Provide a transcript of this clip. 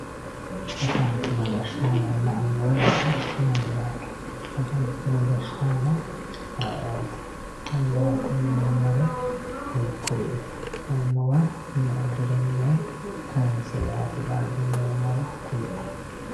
afantino gashshaanonna annuwa yaa mayyate? afantino gashshaano ayeeooti? annuwate yineemmori hiikkuriiti? annuwaho meu dirinni kayiinse yaate dandiineemmoro kulie.